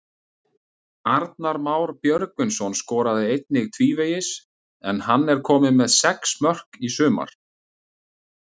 Arnar Már Björgvinsson skoraði einnig tvívegis en hann er kominn með sex mörk í sumar.